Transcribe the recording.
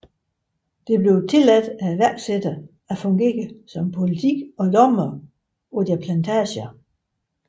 Det blev tilladt iværksættere at fungere som politi og dommere på deres plantager